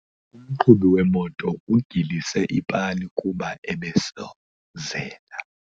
Umqhubi wemoto ugilise ipali kuba ebesozela.